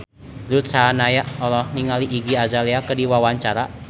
Ruth Sahanaya olohok ningali Iggy Azalea keur diwawancara